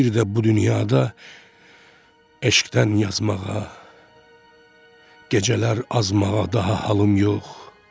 Bir də bu dünyada eşqdən yazmağa, gecələr azmağa daha halım yox.